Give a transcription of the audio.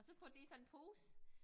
Og så putte det i sådan pose